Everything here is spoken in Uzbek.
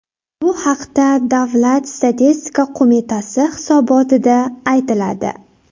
Bu haqda Davlat statistika qo‘mitasi hisobotida aytiladi .